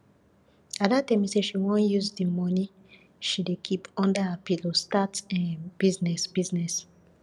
ada tell me say she wan use the money she dey keep under her pillow start um business business